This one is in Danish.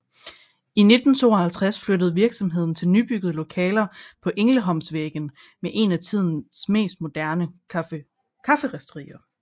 I 1952 flyttede virksomheden til nybyggede lokaler på Ängelholmsvägen med et af tidens mest moderne kafferisterier